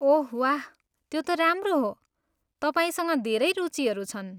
ओह वाह, त्यो त राम्रो हो, तपाईँसँग धेरै रुचिहरू छन्।